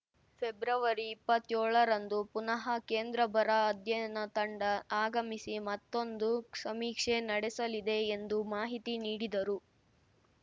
ಫೆಬ್ರವರಿಇಪ್ಪತ್ಯೋಳರಂದು ಪುನಃ ಕೇಂದ್ರ ಬರ ಅಧ್ಯಯನ ತಂಡ ಆಗಮಿಸಿ ಮತ್ತೊಂದು ಸಮೀಕ್ಷೆ ನಡೆಸಲಿದೆ ಎಂದು ಮಾಹಿತಿ ನೀಡಿದರು